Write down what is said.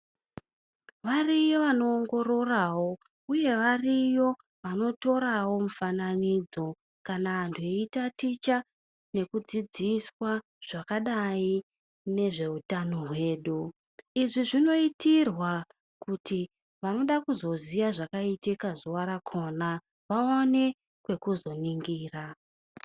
Variyo vanoongororawo uye variyo vanotorawo mifananidzo kana antu eyitaticha nekudzidziswa zvakadai nezveutano hwedu. Izvi zvinoitirwa kuti vanoda kuzoziya zvakaitita zuva rakona, vawane pekuzoningira.